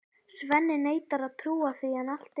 Svenni neitar að trúa því en allt er til.